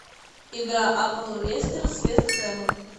игра апл лестера с вест хэмом